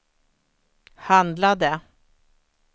handlade